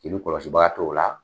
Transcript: Celu kɔlɔsibaa t'o la